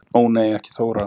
Ó nei ekki Þóra